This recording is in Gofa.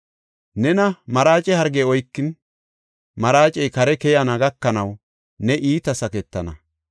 Nena maraace hargey oykin, maraacey kare keyana gakanaw ne iita saketana.’ ”